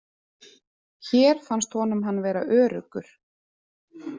Hér fannst honum hann vera öruggur.